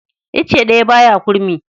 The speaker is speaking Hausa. Icce ɗaya ba ya kurmi.